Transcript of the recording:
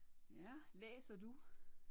Ja. Læser du?